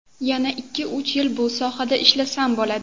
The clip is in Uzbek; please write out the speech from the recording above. Yana ikki-uch yil bu sohada ishlasam bo‘ladi.